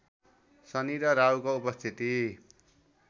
शनि र राहुको उपस्थिति